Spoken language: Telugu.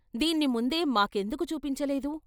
" దీన్ని ముందే మాకెందుకు చూపించలేదు?